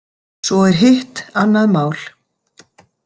Svo er hitt annað mál.